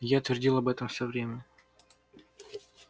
я твердил об этом все время